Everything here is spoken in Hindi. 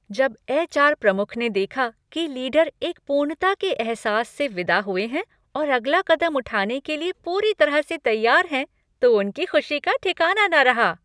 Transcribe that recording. जब एच.आर. प्रमुख ने देखा कि लीडर एक पूर्णता के एहसास से विदा हुए हैं और अगला कदम उठाने के लिए पूरी तरह से तैयार हैं तो उनकी खुशी का ठिकाना न रहा।